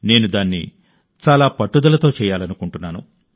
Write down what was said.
నేను దాన్ని చాలా పట్టుదలతో పునరావృతం చేయాలనుకుంటున్నాను